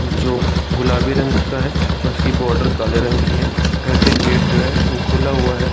जो गुलाबी रंग का है उसकी बॉडर काले रंग की है घर के गेट जो है वो खुला हुआ है ।